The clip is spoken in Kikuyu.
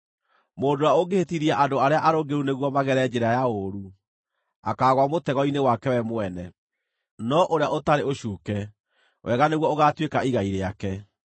Mũndũ ũrĩa ũngĩhĩtithia andũ arĩa arũngĩrĩru nĩguo magere njĩra ya ũũru, akaagũa mũtego-inĩ wake we mwene, no ũrĩa ũtarĩ ũcuuke, wega nĩguo ũgaatuĩka igai rĩake.